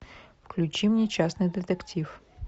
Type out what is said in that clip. включи мне частный детектив